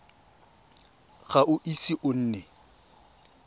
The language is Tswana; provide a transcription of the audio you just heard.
ga o ise o nne